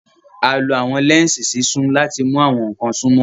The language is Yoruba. A lo awọn lẹnsi sísun lati mu awọn nkan sunmọ.